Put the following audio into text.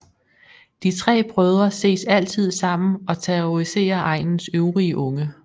De tre brødre ses altid sammen og terroriserer egnens øvrige unge